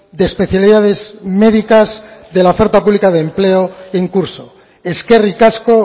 de especialidades médicas de la oferta pública de empleo en curso eskerrik asko